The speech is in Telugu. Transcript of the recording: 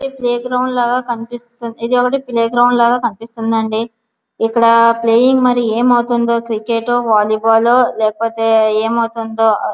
ఇది ప్లేగ్రౌండ్ లాగా కనిపిస్తుంది ఇదిఒకటి ప్లేగ్రౌండ్ లాగా కనిపిస్తుంది అండి ఇక్కడ ప్లేయింగ్ మరి ఏమవుతుందో క్రికెట్ వాలీ బాల్ లేకపోతే ఏమవుతుందో--